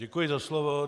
Děkuji za slovo.